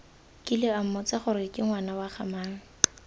kile ammotsa goreke ngwana wagamang